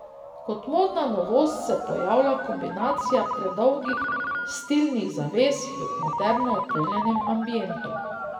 Kot modna novost se pojavlja kombinacija predolgih stilnih zaves v moderno opremljenem ambientu.